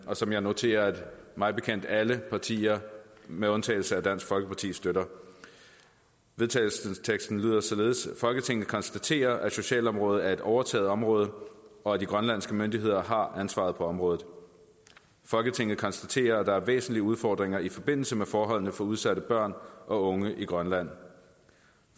og som jeg noterer at mig bekendt alle partier med undtagelse af dansk folkeparti støtter vedtagelsesteksten lyder således folketinget konstaterer at socialområdet er et overtaget område og at de grønlandske myndigheder har ansvaret på området folketinget konstaterer at der er væsentlige udfordringer i forbindelse med forholdene for udsatte børn og unge i grønland